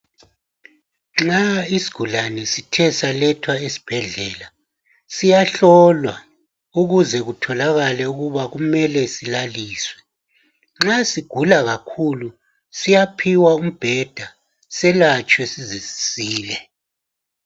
Nxa isigulane sithe salethwa esibhedlela siyahlolwa ukuze kutholakale ukuba kumele silaliswe. Nxa sigula kakhulu siyaphiwa umbheda selatshwe size sisile.